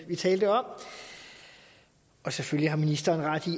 har talt om og selvfølgelig har ministeren ret i